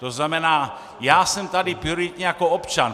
To znamená, já jsem tady prioritně jako občan.